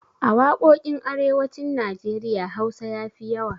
A waƙoƙin arewacin Najeriya Hausa ya fi yawa.